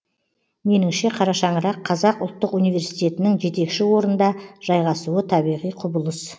меніңше қара шаңырақ қазақ ұлттық университетінің жетекші орында жайғасуы табиғи құбылыс